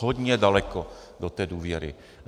Hodně daleko do té důvěry.